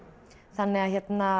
þannig að